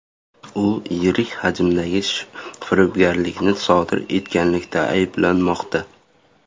U yirik hajmdagi firibgarlikni sodir etganlikda ayblanmoqda.